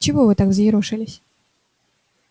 чего вы так взъерошились